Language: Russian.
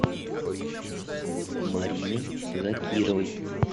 мариной закировой